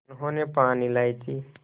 उन्होंने पान इलायची